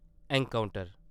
encounter